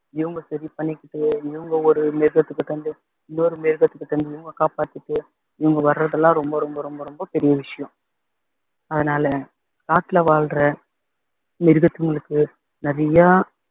இவங்க சரி பண்ணிக்கிட்டு இவங்க ஒரு மிருகத்துக்கிட்ட இருந்து இன்னொரு மிருகத்துக்கிட்ட இவங்க காப்பாத்திட்டு இவங்க வர்றதெல்லாம் ரொம்ப ரொம்ப ரொம்ப ரொம்ப பெரிய விஷயம் அதனால காட்டுல வாழ்ற மிருகத்துங்களுக்கு நிறைய